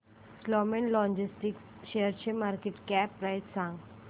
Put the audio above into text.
Snowman logistics शेअरची market cap price सांगा